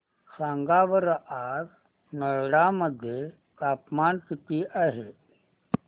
सांगा बरं आज नोएडा मध्ये तापमान किती आहे